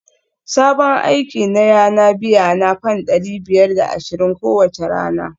Sabon aiki na yana biyana fam dari biyar da ashirin kowace rana